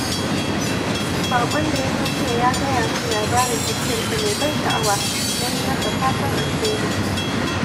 Baƙon da ya zo jiya ya gaya min labarin tafiyarsa mai ban sha’awa, na yi masa fatan alheri.